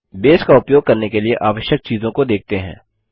base का उपयोग करने के लिए आवश्यक चीजों को देखते हैं